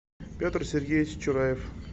петр сергеевич чураев